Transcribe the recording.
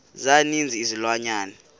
za ninzi izilwanyana